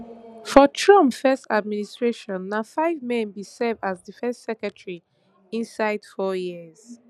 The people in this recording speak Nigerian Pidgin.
for trump first administration na five men bin serve as defence secretary inside four years